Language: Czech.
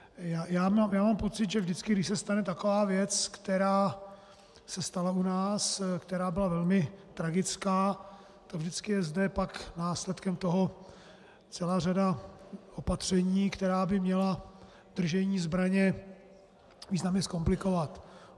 Já mám pocit, že vždycky, když se stane taková věc, která se stala u nás, která byla velmi tragická, tak vždycky je zde pak následkem toho celá řada opatření, která by měla držení zbraně významně zkomplikovat.